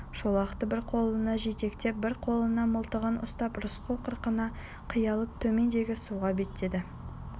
шолақты бір қолына жетектеп бір қолына мылтығын ұстап рысқұл қырқаны қиялап төмендегі суға беттеді